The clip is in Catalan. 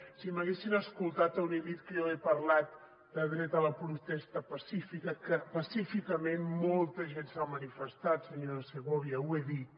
si m’haguessin escoltat haurien dit que jo he parlat de dret a la protesta pacífica que pacíficament molta gent s’ha manifestat senyora segovia ho he dit